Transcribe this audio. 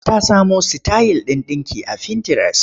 Ta samo sitayil ɗin ɗinki a fintires.